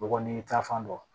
Bɔgɔ ni tafan dɔn